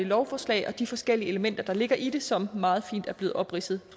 lovforslag og de forskellige elementer der ligger i det som meget fint er blevet opridset